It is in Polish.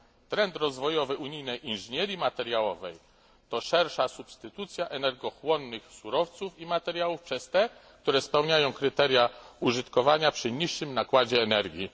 Trend rozwojowy unijnej inżynierii materiałowej to szersza substytucja energochłonnych surowców i materiałów przez te, które spełniają kryteria użytkowania przy niższym nakładzie energii.